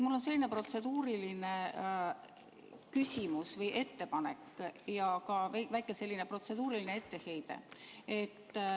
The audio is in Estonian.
Mul on selline protseduuriline küsimus või ettepanek ja ka väike protseduuriline etteheide.